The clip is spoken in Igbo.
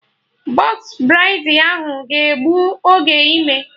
Bọx braidi ahụ ga egbu oge ime